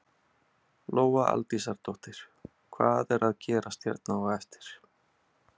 Lóa Aldísardóttir: Hvað er að gerast hérna á eftir?